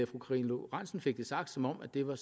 karina lorentzen fik det sagt som om det var